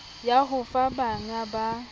ya ho fa bangga ba